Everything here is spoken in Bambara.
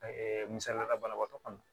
misaliyala banabaatɔ kɔnɔ